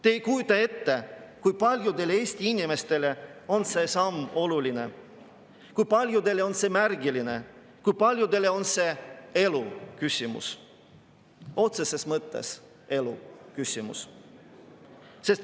Te ei kujuta ette, kui paljudele Eesti inimestele on see samm oluline, kui paljudele on see märgiline, kui paljudele on see elu küsimus, otseses mõttes elu küsimus.